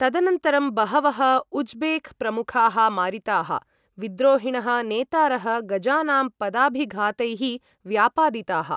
तदनन्तरं बहवः उज़्बेक् प्रमुखाः मारिताः, विद्रोहिणः नेतारः गजानां पदाभिघातैः व्यापादिताः।